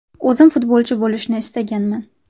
O‘zim futbolchi bo‘lishni istaganman.